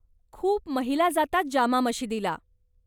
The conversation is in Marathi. खूप महिला जातात जामा मशिदीला.